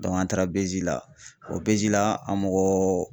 an taara BJ la o BJ la an mɔgɔ